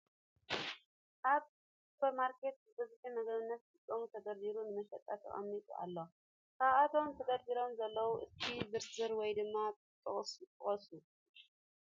ኣብ ስፖር ማርኬት ብበዝሒ ንምግብነት ዝጠቅም ተደርዲሩ ንመሸጣ ተቀሚጡ ኣሎ ። ካብ እቶም ተደርዲሮም ዘለዉ እስኪ ዘርዝሩ ወይ ድማ ጥቀሱ ?